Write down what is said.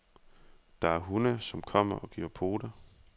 Der er hunde, som kommer og giver pote.